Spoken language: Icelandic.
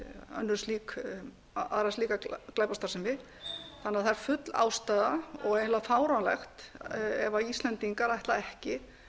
aðra slíka glæpastarfsemi þannig að það er full ástæða og eiginlega fáránlegt ef íslendingar ætla ekki